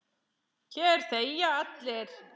Hér þegja allir.